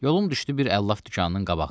Yolum düşdü bir əlləf dükanının qabağından.